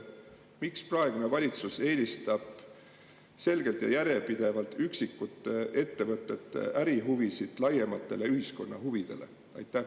Miks praegune valitsus eelistab selgelt ja järjepidevalt üksikute ettevõtete ärihuvisid laiematele ühiskonna huvidele?